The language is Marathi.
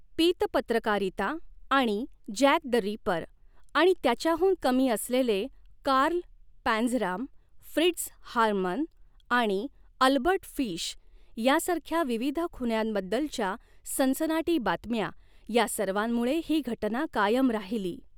पीत पत्रकारिता आणि जॅक द रिपर आणि त्याच्याहून कमी असलेले कार्ल पँझराम, फ्रिट्झ हार्मन आणि अल्बर्ट फिश यासारख्या विविध खुन्यांबद्दलच्या सनसनाटी बातम्या या सर्वांमुळे ही घटना कायम राहिली.